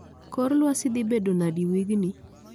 Kor lwasi dhibedo nadi wigni